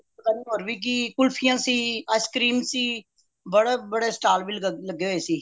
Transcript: ਹੋਰ ਵੀ ਕਿ ਕੁਲਫੀਆਂ ਸੀ ice cream ਸੀ ਬੜੇ ਬੜੇ stall ਵੀ ਲੱਗੇ ਹੋਏ ਸੀ